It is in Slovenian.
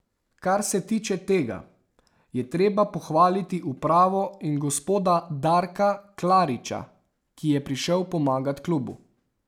Kar se tiče tega, je treba pohvaliti upravo in gospoda Darka Klariča, ki je prišel pomagat klubu.